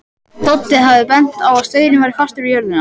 Doddi hafði bent á að staurinn væri fastur við jörðina.